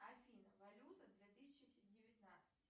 афина валюта две тысячи девятнадцать